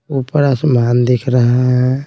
ऊपर आसमान दिख रहा है।